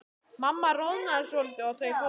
Mamma roðnaði svolítið og þau fóru.